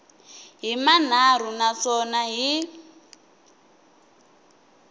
hi manharhu na swona hi